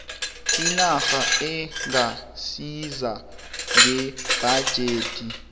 inac ingasiza ngebhajethi